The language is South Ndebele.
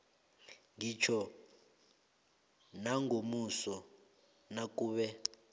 ngitjho nangomuso nakube